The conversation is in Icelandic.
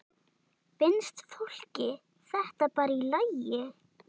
Finnst fólki þetta bara í lagi?